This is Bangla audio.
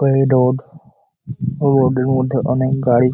ওই রোড । ও রোড এর মধ্যে অনেক গাড়ি।